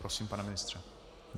Prosím, pane ministře.